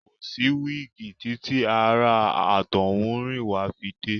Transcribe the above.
Kò sí wíígì títí àwọn ará àtọ́húnrìnwá fi dé.